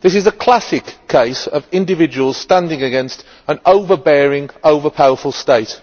This is a classic case of individuals standing against an overbearing, over powerful state.